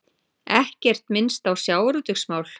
Ekkert minnst á sjávarútvegsmál